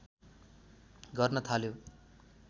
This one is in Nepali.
गर्न थाल्यो